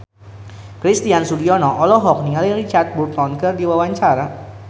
Christian Sugiono olohok ningali Richard Burton keur diwawancara